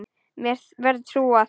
Mér verður trúað.